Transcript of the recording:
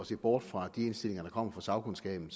se bort fra de indstillinger der kommer fra sagkundskaben